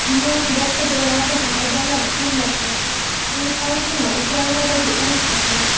Dunyoning boshqa joylarida ham odamlar o‘lmoqda – Infantino Ukrainadagi urush haqida.